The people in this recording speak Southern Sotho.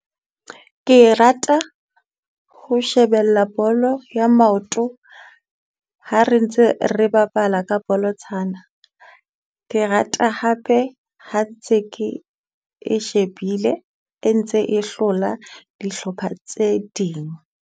Ke rata ho shebella bolo ya maoto ha re ntse re bapala ka bolotsana. Ke rata hape ha ntse ke e shebile e ntse e hlola dihlopha tse ding.